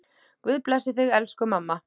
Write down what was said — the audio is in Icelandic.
Guð blessi þig, elsku mamma.